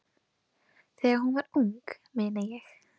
Þegar hún var ung, meina ég.